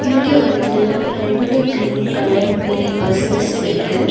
இங்க வந்து ரெண்டு கிரீன் கலர் மினி பஸ்சஸ் இருக்கு.